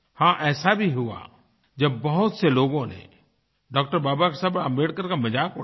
हाँ ऐसा भी हुआ जब बहुत से लोगों ने डॉ० बाबा साहब आम्बेडकर का मज़ाक उड़ाया